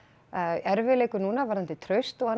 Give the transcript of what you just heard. erfiðleikum núna varðandi traust og annað